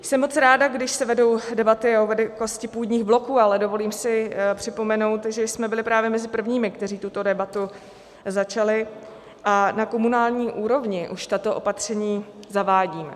Jsem moc ráda, když se vedou debaty o velikosti půdních bloků, ale dovolím si připomenout, že jsme byli právě mezi prvními, kteří tuto debatu začali, a na komunální úrovni už tato opatření zavádíme.